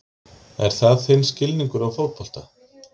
Er það þinn skilningur á fótbolta?